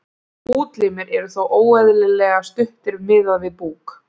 útlimir eru þá óeðlilega stuttir miðað við búk